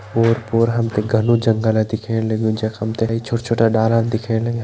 ओर पोर हम ते घनु जंगलअ दिखेण लग्युं जख हम ते छोटा छोटा डालान दिखेण लग्यां।